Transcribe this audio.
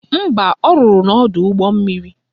Mba, ọ rụrụ n'ọdọụgbọmmiri